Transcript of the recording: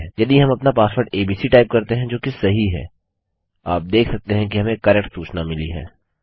यदि हम अपना पासवर्ड एबीसी टाइप करते हैं जोकि सही है आप देख सकते हैं हमें करेक्ट सूचना मिली है